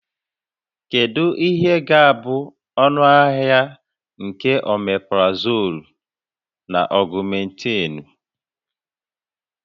Kedu ihe ga-abụ ọnụahịa nke Omeprazoolu na Ọgụmentịịnụ?